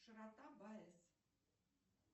широта баэс